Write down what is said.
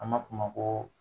An b'a fo o ma